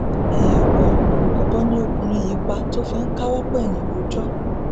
èèmọ ọbọ ni ọkùnrin yìí pa tó fi ń káwọ pọnyìn rojọ